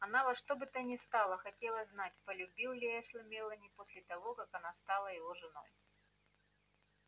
она во что бы то ни стало хотела знать полюбил ли эшли мелани после того как она стала его женой